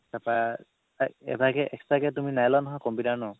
তাৰপৰা এভাগে extra কে তুমি নাইলোৱা নহয় computer ৰ ন